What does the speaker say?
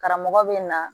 Karamɔgɔ bɛ na